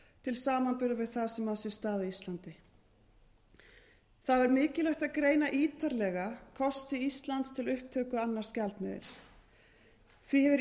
til samanburðar við það sem á sér stað á íslandi þá er mikilvægt að greina ítarlega kosti íslands til upptöku annars gjaldmiðils því hefur